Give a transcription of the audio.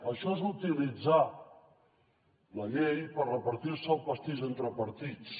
això és utilitzar la llei per repartir se el pastís entre partits